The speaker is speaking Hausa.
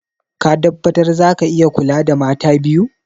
Ka tabbatar za ka iya kula da mata biyu?